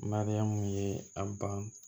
Mariyamu ye a ban